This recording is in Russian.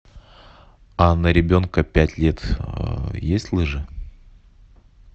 а на ребенка пять лет есть лыжи